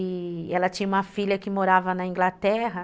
E ela tinha uma filha que morava na Inglaterra.